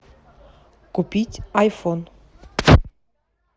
купить айфон